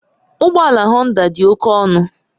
Ụgbọ ala Honda dị oke ọnụ